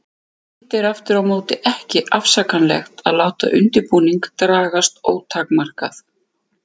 Hitt er aftur á móti ekki afsakanlegt að láta undirbúning dragast ótakmarkað.